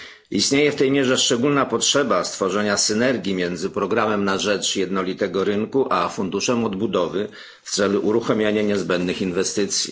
Istnieje w tej mierze szczególna potrzeba stworzenia synergii między programem na rzecz jednolitego rynku a funduszem odbudowy w celu uruchamiania niezbędnych inwestycji.